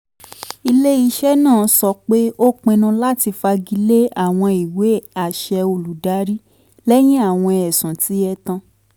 ile-iṣẹ naa sọ pe o pinnu lati fagile awọn iwe-aṣẹ olùdarí lẹhin awọn ẹsun ti ẹtan